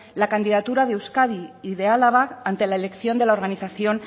la candidatura de euskadi y de álava ante la elección de la organización